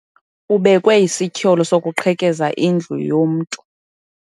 Ubekwe isityholo sokuqhekeza indlu yomntu.